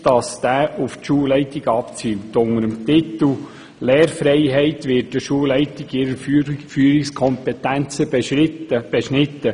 Unter dem Titel «Lehrfreiheit» werden die Schulleitungen in ihrer Führungskompetenz beschnitten.